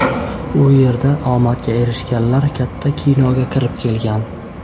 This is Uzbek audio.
U yerda omadga erishganlar katta kinoga kirib kelgan.